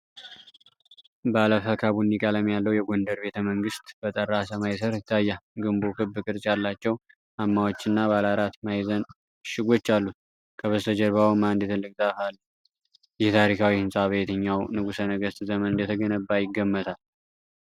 ባለፈካ ቡኒ ቀለም ያለው የጎንደር ቤተመንግስት በጠራ ሰማይ ስር ይታያል። ግንቡ ክብ ቅርጽ ያላቸው ማማዎችና ባለ አራት ማዕዘን ምሽጎች አሉት፣ ከበስተጀርባውም አንድ ትልቅ ዛፍ አለ። ይህ ታሪካዊ ሕንፃ በየትኛው ንጉሠ ነገሥት ዘመን እንደተገነባ ይገመታል?